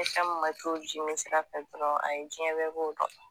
Ni fɛn min ma t'o jiminsira fɛ dɔrɔn ayi diɲɛ bɛɛ b'o dɔn